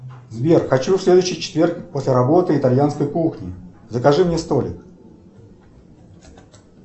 сбер хочу в следующий четверг после работы итальянской кухни закажи мне столик